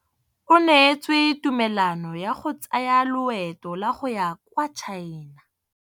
O neetswe tumalanô ya go tsaya loetô la go ya kwa China.